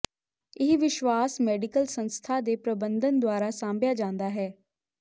ਇਹ ਵਿਸ਼ਵਾਸ ਮੈਡੀਕਲ ਸੰਸਥਾ ਦੇ ਪ੍ਰਬੰਧਨ ਦੁਆਰਾ ਸਾਂਭਿਆ ਜਾਂਦਾ ਹੈ